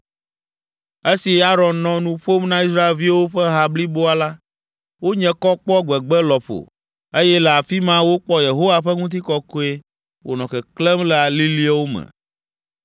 Esi Aron nɔ nu ƒom na Israelviwo ƒe ha bliboa la, wonye kɔ kpɔ gbegbe lɔƒo, eye le afi ma wokpɔ Yehowa ƒe ŋutikɔkɔe wònɔ keklẽm le aliliwo me.